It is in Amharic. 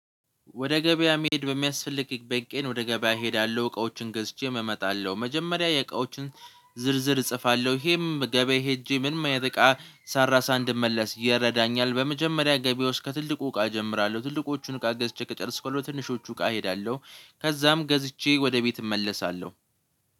ወደ ገበያ መሄድ በሚያስፈልግበት ቀን ወደ ገበያ እሄዳለሁ እቃዎችን ገዝቼ እመጣለሁ። መጀመሪያ የእቃዎችን ዝርዝር እጽፋለሁ ይሄም ገበያ ሄጄ ምንም እቃ ሳልረሳ እንድመለስ ይረዳኛል። በመጀመሪያ ገበያ ውስጥ ከትልቁ እቃ እጀምራለሁ ትልቁዎቹን እቃ ገዝቼ ከጨረስኩለት ትንሾቹ ጋ እሄዳለሁ። ከዛም ገዝቼ ወደ ቤት እመለሳለሁ።